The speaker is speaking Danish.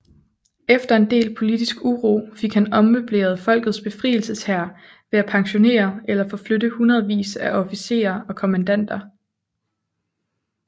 Efter en del politisk uro fik han ommøbleret Folkets Befrielseshær ved at pensionere eller forflytte hundredvis af officerer og kommandanter